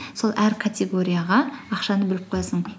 сол әр категорияға ақшаны бөліп қоясың